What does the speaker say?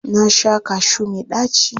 Na sha kashu mai ɗaci.